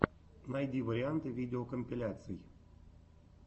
найди варианты видеокомпиляций